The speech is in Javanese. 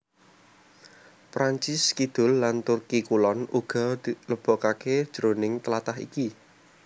Prancis Kidul lan Turki Kulon uga dilebokaké jroning tlatah iki